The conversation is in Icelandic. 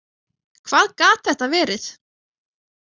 Hvað gat þetta verið?